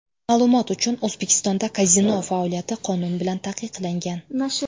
Ma’lumot uchun, O‘zbekistonda kazino faoliyati qonun bilan taqiqlangan.